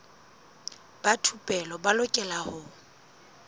ba thupelo ba lokela ho